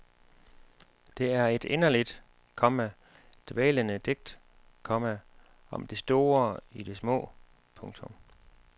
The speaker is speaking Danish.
Det er et inderligt, komma dvælende digt, komma om det store i det små. punktum